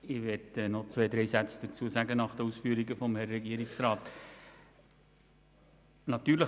Ich möchte nach den Ausführungen des Regierungsrats noch zwei, drei Sätze sagen.